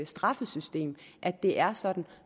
straffesystem at det er sådan